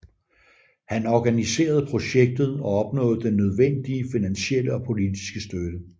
Han organiserede projektet og opnåede den nødvendige finansielle og politiske støtte